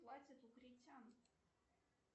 платят у критян